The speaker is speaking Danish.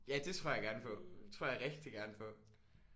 Ja det tror jeg gerne på. Det tror jeg rigtig gerne på